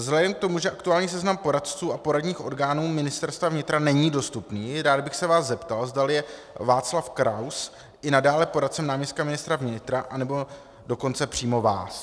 Vzhledem k tomu, že aktuální seznam poradců a poradních orgánů Ministerstva vnitra není dostupný, rád bych se vás zeptal, zdali je Václav Kraus i nadále poradcem náměstka ministra vnitra, anebo dokonce přímo vás.